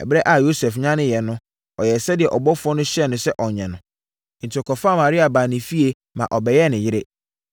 Ɛberɛ a Yosef nyaneeɛ no, ɔyɛɛ sɛdeɛ ɔbɔfoɔ no hyɛɛ no sɛ ɔnyɛ no. Enti ɔkɔfaa Maria baa ne fie ma ɔbɛyɛɛ ne yere.